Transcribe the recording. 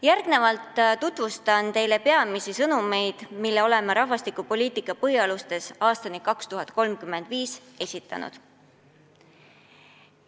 Järgnevalt tutvustan teile peamisi sõnumeid, mis me oleme "Rahvastikupoliitika põhialustes aastani 2035" esitanud.